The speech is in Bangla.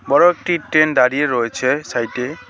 বড় একটি ট্রেন দাঁড়িয়ে রয়েছে সাইড -এ।